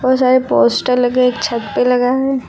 बोहोत सारे पोस्टर लगे हैं। एक छत पे लगा है।